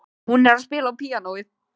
Hún er að spila á píanóið.